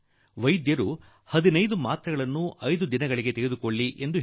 ಅದೆಂದರೆ ವೈದ್ಯರು ಈ ಆಂಟಿ ಬಯೋಟಿಕ್ ತೆಗೆದುಕೊಳ್ಳಿ ಇದರಲ್ಲಿ ಹದಿನೈದು ಮಾತ್ರೆ ತೆಗೆದುಕೊಳ್ಳಬೇಕಾಗಿದೆ